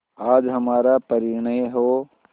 आज हमारा परिणय हो